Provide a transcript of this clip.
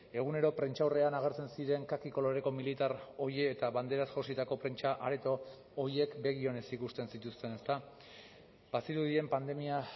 egunero prentsaurrean agertzen ziren kaki koloreko militar hori eta banderaz jositako prentsa areto horiek begi onez ikusten zituzten ezta bazirudien pandemia